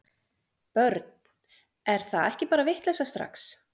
Börn: er það ekki bara vitleysa strax?